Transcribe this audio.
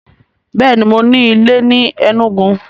Bẹ́ẹ̀ni, mo ní ilé ni Enugu?